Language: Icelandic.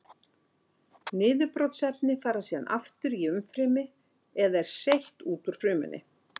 Niðurbrotsefni fara síðan aftur í umfrymi eða er seytt út úr frumunni.